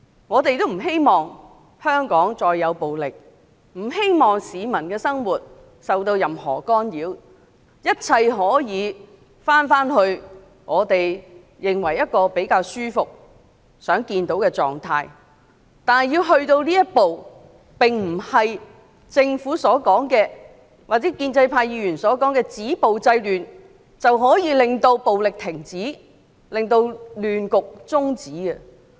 我們不希望香港再有暴力事件或市民的生活受到任何干擾，寄望一切可以回到我們認為比較舒服和希望看到的狀態，但如果要走到這一步，並不是政府或建制派議員所說的止暴制亂便能停止暴力、中止亂局。